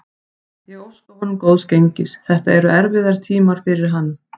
Ég óska honum góðs gengis, þetta eru erfiðir tímar fyrir hann.